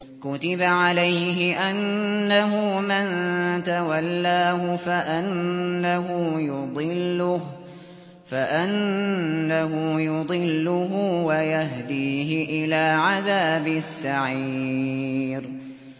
كُتِبَ عَلَيْهِ أَنَّهُ مَن تَوَلَّاهُ فَأَنَّهُ يُضِلُّهُ وَيَهْدِيهِ إِلَىٰ عَذَابِ السَّعِيرِ